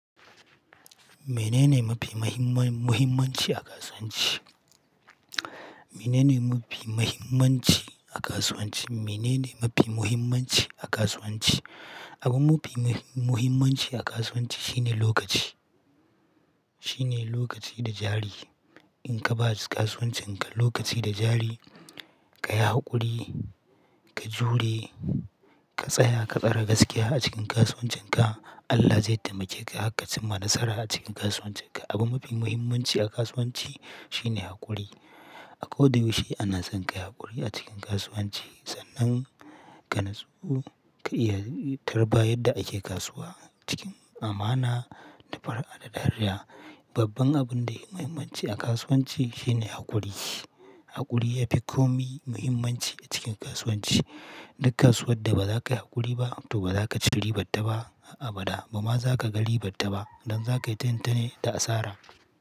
Mene ne mafi mahimman muhimmanci a kasuwanci? Mene ne mafi muhimmanci a kasuwanci? Mene ne mafi muhimmanci a kasuwanci? Abu mufi mahi-muhimmanci a kasuwanci shine lokaci. Shine lokaci da jari. In ka ba kasuwancin ka lokaci da jari, ka yi haƙuri, ka jure, ka tsaya, ka tsara gaskiya a cikin kasuwancin ka, Allah zai taimake ka harka cimma nasara a cikin kasuwancin ka. Abu mafi muhimmanci a kasuwanci shine haƙuri. A ko da yaushe ana son ka yi haƙuri a cikin kasuwanci sannan ka natsu, ka iya tarba yadda ake kasuwa cikin amana da far'a da dariya. Babban abun da yafi mahimmanci a kasuwanci shine haƙuri. Haƙuri yafi komi muhimmanci a cikin kasuwanci. Duk kasuwar da ba za kai haƙuri ba to ba za ka ci ribar ta ba har abada. Bama za ka ga ribar ta ba don za kaita yintane da asara.